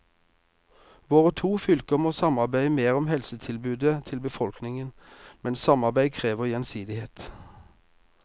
Våre to fylker må samarbeide mer om helsetilbudet til befolkningen, men samarbeid krever gjensidighet.